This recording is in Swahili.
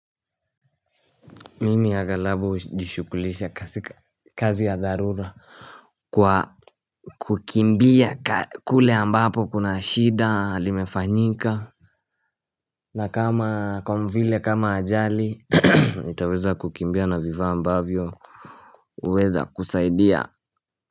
Mimi aghalabu hujishughulisha kazi ya dharura. Kwa kukimbia kule ambapo kuna shida limefanyika na kama kwa vile kama ajali nitaweza kukimbia na vifaa ambavyo huweza kusaidia.